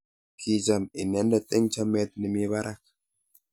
kicham inendet eng chamet ne mi barak